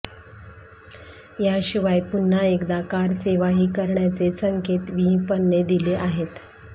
याशिवाय पुन्हा एकदा कारसेवाही करण्याचे संकेत विहिंपने दिले आहेत